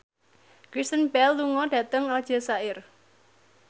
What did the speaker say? Kristen Bell lunga dhateng Aljazair